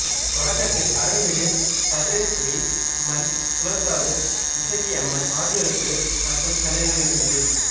தொடக்கத்தில் அருள்மிகு பத்ரேஸ்வரி அம்மன் குலசாவு இசக்கியம்மன் ஆகியோருக்கு மட்டும் சன்னதிகள் இருந்தது